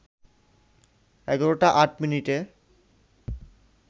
১১টা ৮ মিনিটে